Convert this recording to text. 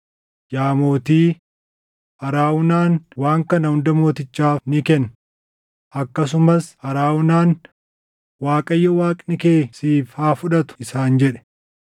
Yaa mootii, Arawunaan waan kana hunda mootichaaf ni kenna.” Akkasumas Arawunaan, “ Waaqayyo Waaqni kee siif haa fudhatu” isaan jedhe.